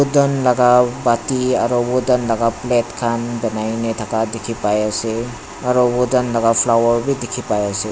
dhun laga pati aro khuri laga plate khan banaina dikhipaiase aro khuri laga flower bi dikhi pai ase.